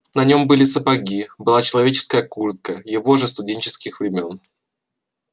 на нём были сапоги была человеческая куртка его же студенческих времён